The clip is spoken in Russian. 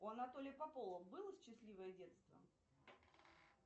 у анатолия попова было счастливое детство